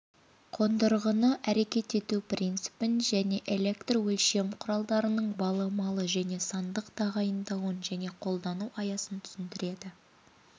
қондырғыны әрекет ету принципін және электрөлшем құралдарының баламалы және сандық тағайындауын және қолдану аясын түсіндіреді